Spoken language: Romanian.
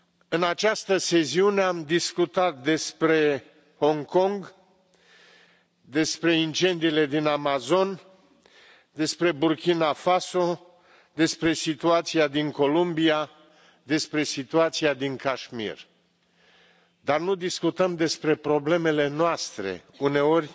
În această sesiune am discutat despre Hong Kong, despre incendiile din Amazon, despre Burkina Faso, despre situația din Columbia, despre situația din Cașmir, dar nu discutăm despre problemele noastre, uneori